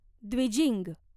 Dwijing